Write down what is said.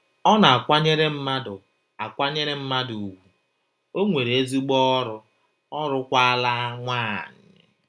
Ọ na - akwanyere mmadụ akwanyere mmadụ ùgwù, o nwere ezigbo ọrụ, ọ lụọkwala nwanyị!